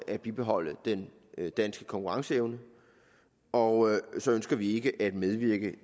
at bibeholde den danske konkurrenceevne og så ønsker vi ikke at medvirke